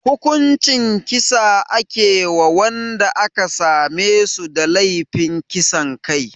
Hukuncin kisa ake wa wanda aka same su da laifin kisan kai